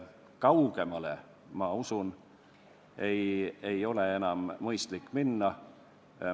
Kaugemale, ma usun, ei ole enam mõistlik minna.